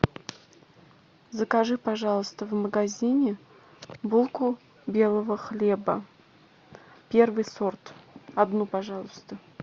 закажи пожалуйста в магазине булку белого хлеба первый сорт одну пожалуйста